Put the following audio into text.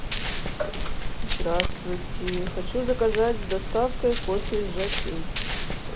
здравствуйте хочу заказать с доставкой кофе жокей